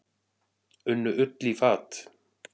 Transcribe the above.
Unnu Ull í fat.